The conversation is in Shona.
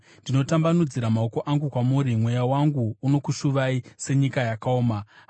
Ndinotambanudzira maoko angu kwamuri; mweya wangu unokushuvai senyika yakaoma. Sera